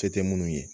Se tɛ munnu ye